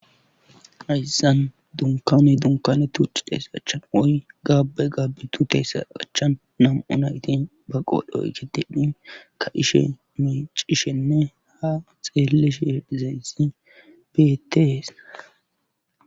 Hessan dunkane dunkane tucci teesachan oy gaabe gabbitu teesa achchan nam7u nayti ba qoodhoy ketidhi ka ishe micishenne ha xeelish hedhizaysi beeteesa